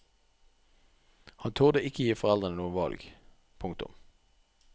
Han turde ikke gi foreldrene noe valg. punktum